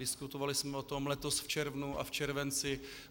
Diskutovali jsme o tom letos v červnu a v červenci.